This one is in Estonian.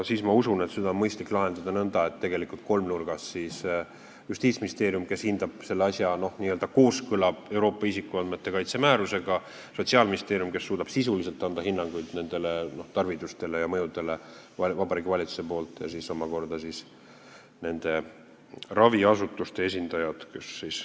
Ma usun, et seda on mõistlik lahendada tegelikult kolmnurgas: Justiitsministeerium hindab selle asja kooskõla Euroopa isikuandmete kaitse määrusega, Sotsiaalministeerium suudab sisuliselt anda hinnanguid nendele tarvidustele ja mõjudele Vabariigi Valitsuse poolt ning kolmandaks on nende raviasutuste esindajad.